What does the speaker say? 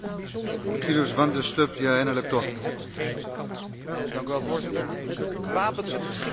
Voorzitter, gewapend met verschillende moordwapens voor een clubje zelfbenoemde vredesactivisten richting Gaza.